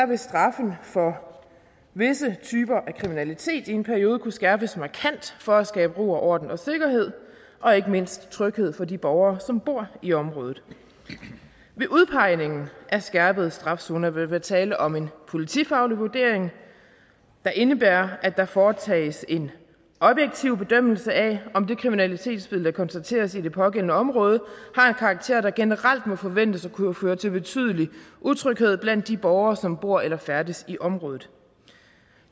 vil straffen for visse typer af kriminalitet i en periode kunne skærpes markant for at skabe ro og orden og sikkerhed og ikke mindst tryghed for de borgere som bor i området ved udpegningen af skærpet straf zoner vil der være tale om en politifaglig vurdering der indebærer at der foretages en objektiv bedømmelse af om det kriminalitetsbillede der konstateres i det pågældende område har en karakter der generelt må forventes at kunne føre til betydelig utryghed blandt de borgere som bor eller færdes i området